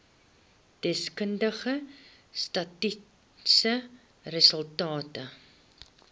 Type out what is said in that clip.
deskundige statistiese resultate